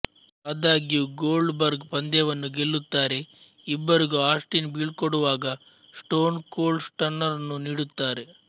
ಆದಾಗ್ಯೂ Goldberg ಪಂದ್ಯವನ್ನು ಗೆಲ್ಲುತ್ತಾರೆ ಇಬ್ಬರಿಗೂ ಆಸ್ಟಿನ್ ಬೀಳ್ಕೊಡುವಾಗ ಸ್ಟೋನ್ ಕೋಲ್ಡ್ ಸ್ಟನ್ನರ್ ನ್ನು ನೀಡುತ್ತಾರೆ